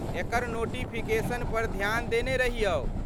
एकर notification पर ध्यान देने रहियौ।